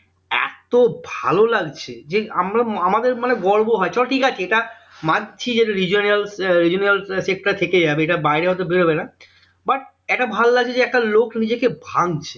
এত ভালো লাগছে যে আমরা আমাদের মানে গর্ব হয় চলো ঠিক আছে এটা মানছি যে regional আহ regional আহ এ থেকে যাবে এটা বাইরে হয়তো বেরোবে না but এটা ভালো লাগছে যে একটা লোক নিজেকে ভাঙছে